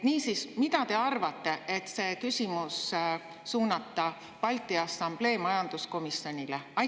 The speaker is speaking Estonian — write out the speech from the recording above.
Niisiis, mida te arvate sellest, et see küsimus suunata Balti Assamblee majanduskomisjonile?